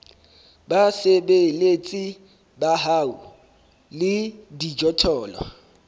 basebeletsi ba hao le dijothollo